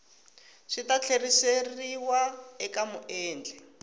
swi ta tlheriseriwa eka muendli